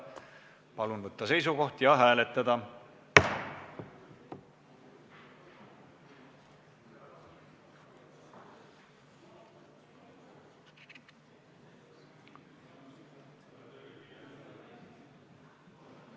Palun võtta seisukoht ja hääletada!